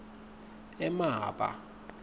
emaba